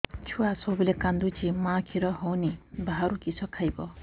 ଛୁଆ ସବୁବେଳେ କାନ୍ଦୁଚି ମା ଖିର ହଉନି ବାହାରୁ କିଷ ଖାଇବ